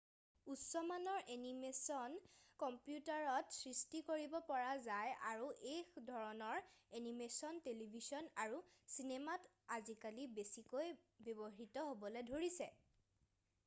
উচ্চমানৰ এনিমেশ্বন কম্পিউটাৰত সৃষ্টি কৰিব পৰা যায় আৰু এই ধৰণৰ এনিমেশ্বন টেলিভিছন আৰু চিনেমাত আজিকালি বেছিকৈ ব্যৱহৃত হ'বলৈ ধৰিছে